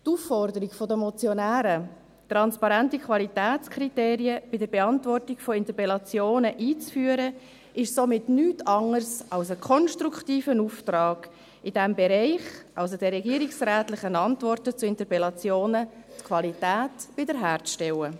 Die Aufforderung der Motionäre, transparente Qualitätskriterien bei der Beantwortung von Interpellationen einzuführen, ist somit nichts anderes als ein konstruktiver Auftrag, in diesem Bereich – also der regierungsrätlichen Antworten zu Interpellationen – die Qualität wiederherzustellen.